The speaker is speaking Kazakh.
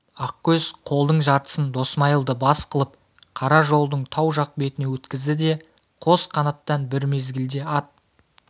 ақкөз қолдың жартысын досмайылды бас қылып қара жолдың тау жақ бетіне өткізді де қос қанаттан бір мезгілде ат